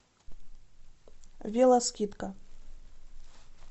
вело скидка